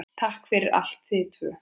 Takk fyrir allt, þið tvö.